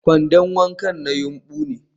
kwandon wanka na yumbu ne